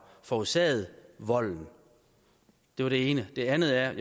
forårsaget volden det var det ene det andet er at